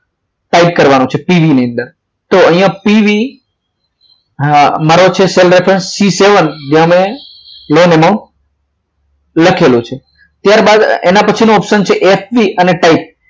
type કરવાનો છે PV ની અંદર તો અહીંયા PV મારો છે cell referencec seven જેને loan amount લખેલો છે ત્યારબાદ એના પછીનો option f b અને